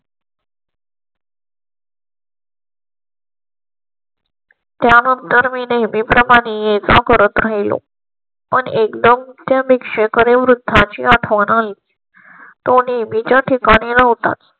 त्यानंतर मी नेहमी प्रमाणेच करत राहिलो. पण एकदम त्या भिक्षक आणि वृद्धांची आठवण आहे. तो नेहमी च्या ठिकाणी होतात